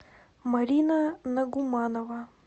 марина нагуманова